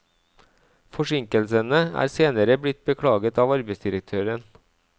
Forsinkelsene er senere blitt beklaget av arbeidsdirektøren.